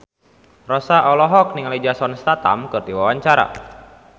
Rossa olohok ningali Jason Statham keur diwawancara